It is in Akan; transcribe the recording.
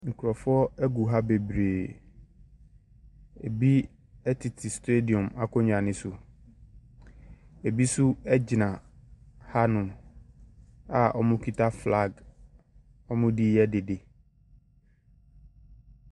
Nkurɔfoɔ gu ha bebree. Ɛbi tete stadim akonnwa no so. Ɛbi nso gyina hanom a wɔkita flag. Wɔde reyɛ dede.